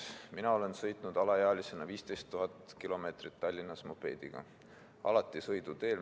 Mina olen alaealisena sõitnud 15 000 kilomeetrit Tallinnas mopeediga, alati sõiduteel.